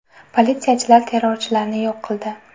Politsiyachilar terrorchilarni yo‘q qildi.